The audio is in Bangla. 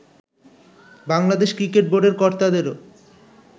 বাংলাদেশ ক্রিকেট বোর্ডের কর্তাদেরও